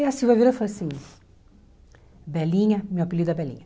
Aí a Silvia vira e fala assim, Belinha, meu apelido é Belinha.